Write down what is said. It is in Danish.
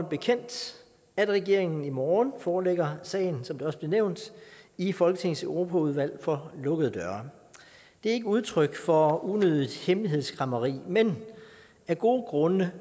bekendt at regeringen i morgen forelægger sagen som det også blev nævnt i folketingets europaudvalg for lukkede døre det er ikke udtryk for unødigt hemmelighedskræmmeri men af gode grunde